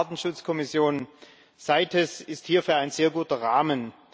die UN-Artenschutzkommission CITES ist hierfür ein sehr guter Rahmen.